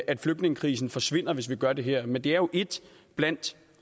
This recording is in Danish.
at flygtningekrisen forsvinder hvis vi gør det her men det er jo et blandt